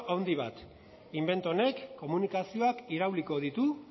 handi bat invento honek komunikazioak irauliko ditu